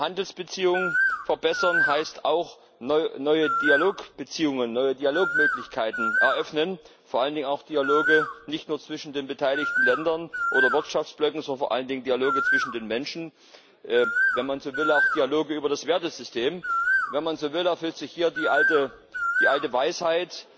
Handelsbeziehungen verbessern heißt auch, neue Dialogbeziehungen, neue Dialogmöglichkeiten eröffnen, vor allen Dingen auch Dialoge nicht nur zwischen den beteiligten Ländern oder Wirtschaftsblöcken, sondern vor allen Dingen Dialoge zwischen den Menschen, wenn man so will, auch Dialoge über das Wertesystem. Wenn man so will, erfüllt sich hier die alte Weisheit